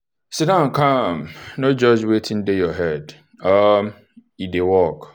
siddon calm no judge wetin dey your head um e dey work.